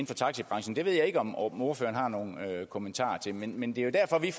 for taxibranchen det ved jeg ikke om om ordføreren har nogle kommentarer til men men det er jo derfor vi